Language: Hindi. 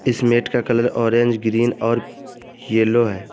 इस मैट का कलर ऑरेंज ग्रीन और येलो है।